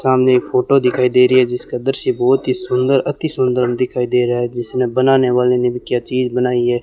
सामने एक फोटो दिखाई दे रही है जिसका दृश्य बहोत ही सुंदर अति सुंदर दिखाई दे रहा है जिसने बनाने वाले ने भी क्या चीज़ बनाई है।